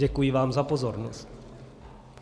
Děkuji vám za pozornost.